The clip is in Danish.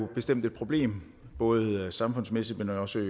bestemt et problem både samfundsmæssigt men jo også